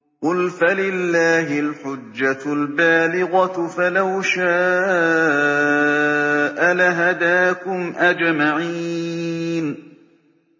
قُلْ فَلِلَّهِ الْحُجَّةُ الْبَالِغَةُ ۖ فَلَوْ شَاءَ لَهَدَاكُمْ أَجْمَعِينَ